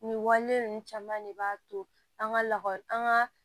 Nin wale ninnu caman de b'a to an ka lakɔli an ka